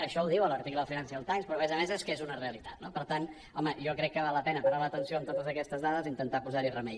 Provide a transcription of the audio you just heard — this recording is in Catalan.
això ho diu l’article del financial times però a més a més és que és una realitat no per tant home jo crec que val la pena parar l’atenció en totes aquestes dades i intentar posar hi remei